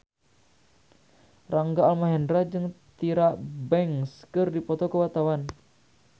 Rangga Almahendra jeung Tyra Banks keur dipoto ku wartawan